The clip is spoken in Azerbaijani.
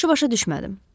Yaxşı başa düşmədim.